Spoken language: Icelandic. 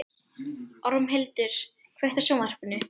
Ormhildur, kveiktu á sjónvarpinu.